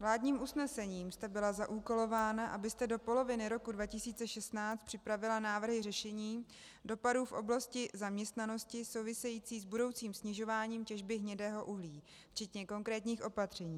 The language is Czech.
Vládním usnesením jste byla zaúkolována, abyste do poloviny roku 2016 připravila návrhy řešení dopadů v oblasti zaměstnanosti související s budoucím snižováním těžby hnědého uhlí, včetně konkrétních opatření.